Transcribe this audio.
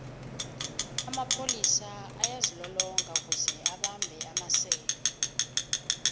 amapholis ayazilolonga kuze abambhe amasela